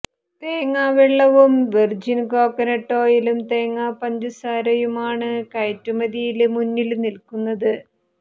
തേങ്ങാവെള്ളവും virgin coconut ഓയിലും തേങ്ങാ പഞ്ചസാരയുമാണ് കയറ്റുമതിയില് മുന്നില് നില്ക്കുന്നത്